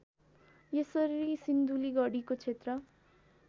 यसरी सिन्धुलीगढीको क्षेत्र